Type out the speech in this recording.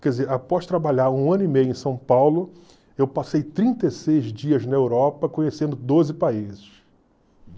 Quer dizer, após trabalhar um ano e meio em São Paulo, eu passei trinta e seis dias na Europa conhecendo doze países.